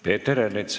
Peeter Ernits.